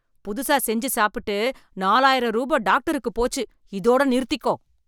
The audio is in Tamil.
புதுசா செஞ்சு சாப்பிட்டு, நாலாயிரம் ரூபா டாக்டருக்கு போச்சு, இதோட நிறுத்திக்கோ.